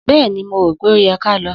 Bẹ́ẹ̀ni, mó rò pẹ ó yẹ ká lọ.